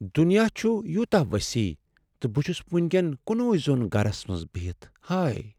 دنیا چُھ یوٗتاہ وسیع تہٕ بہٕ چھس وٕنۍ کین کنے زوٚن گرس منٛز بہتھ۔ ہاے!